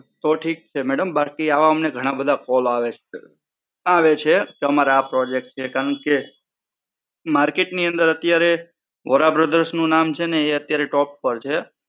તો ઠીક છે મેડમ. બાકી આવા ઘણા બધા call આવે છે. આવે છે અમારે આ Project છે, કેમ કે Market ની અંદર અત્યારે વોરા Brothers નું નામ છે ને એ અત્યારે top પર છે.